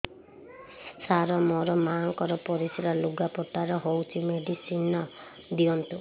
ସାର ମୋର ମାଆଙ୍କର ପରିସ୍ରା ଲୁଗାପଟା ରେ ହଉଚି ମେଡିସିନ ଦିଅନ୍ତୁ